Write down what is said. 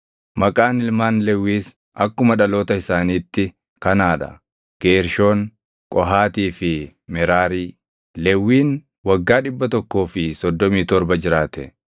Maqaan ilmaan Lewwiis akkuma dhaloota isaaniitti kanaa dha: Geershoon, Qohaatii fi Meraarii. Lewwiin waggaa 137 jiraate.